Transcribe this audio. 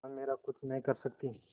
वह मेरा कुछ नहीं कर सकती